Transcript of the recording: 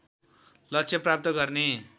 लक्ष्य प्राप्त गर्ने